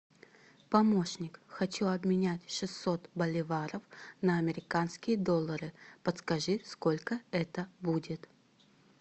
помощник хочу обменять шестьсот боливаров на американские доллары подскажи сколько это будет